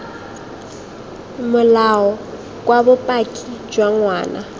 molao kwa bopaki jwa ngwana